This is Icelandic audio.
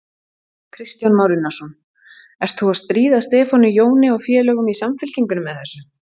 Kristján Már Unnarsson: Ert þú að stríða Stefáni Jóni og félögum í Samfylkingunni með þessu?